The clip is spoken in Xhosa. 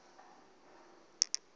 ngenye imini xa